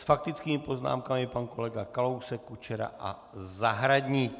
S faktickými poznámkami pan kolega Kalousek, Kučera a Zahradník.